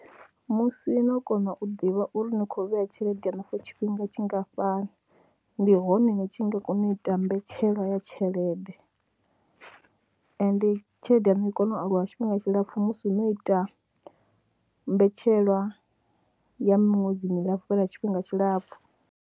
Musi no kona u ḓivha uri ni khou vhea tshelede yaṋu for tshifhinga tshingafhani ndi hone ni tshi nga kona u ita mbetshelwa ya tshelede ende tshelede yaṋu i kone u aluwa tshifhinga tshilapfhu musi no ita mbetshelwa ya miṅwedzini milapfhu lwa tshifhinga tshilapfhu.